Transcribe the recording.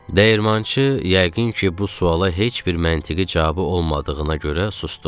Dəyirmançı yəqin ki, bu suala heç bir məntiqi cavabı olmadığına görə susdu.